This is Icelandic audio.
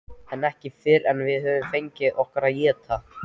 En ekki fyrr en við höfum fengið okkur að éta.